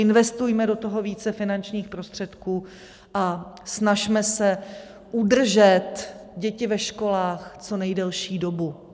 Investujme do toho více finančních prostředků a snažme se udržet děti ve školách co nejdelší dobu.